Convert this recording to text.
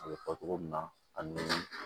A bɛ fɔ togo min na ani